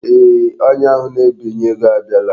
Eeh, onye ahụ na-ebinye ego abiala.